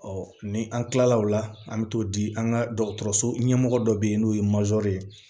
ni an kilala o la an bɛ t'o di an ka dɔgɔtɔrɔso ɲɛmɔgɔ dɔ bɛ yen n'o ye ye